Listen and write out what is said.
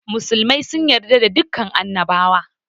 Musulmai sun yarda da dukan annabawa